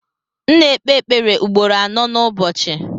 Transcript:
M na ekpe ekpere ugboro anọ nu ụbọchị.